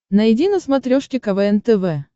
найди на смотрешке квн тв